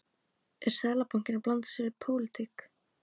Er Seðlabankinn að blanda sér í pólitík?